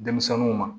Denmisɛnninw ma